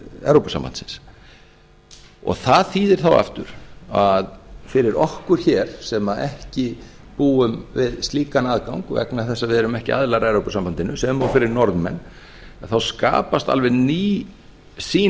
evrópusambandsins það þýðir þá aftur að fyrir okkur hér sem ekki búum við slíkan aðgang vegna þess að við erum ekki aðilar að evrópusambandinu sem og fyrir norðmenn að þá skapast alveg ný sýn